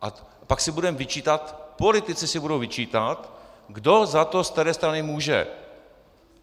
A pak si budeme vyčítat, politici si budou vyčítat, kdo za to z které strany může.